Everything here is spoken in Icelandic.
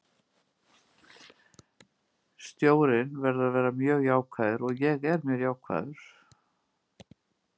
Stjórinn verður að vera mjög jákvæður og ég er mjög jákvæður.